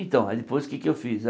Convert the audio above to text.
Então, aí depois o que é que eu fiz?